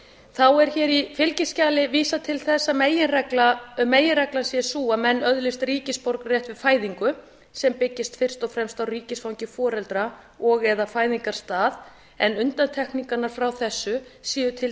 þá er í fylgiskjalinu vísað til þess að meginreglan sé sú að menn öðlist ríkisborgararétt við fæðingu sem byggist fyrst og fremst á ríkisfangi foreldra og eða fæðingarstað en undantekningar frá þessu séu til